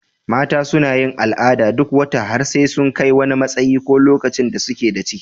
Mata suna yin al'ada duk wata har sai sun kai wani matsayi ko lokacin da suke da ciki.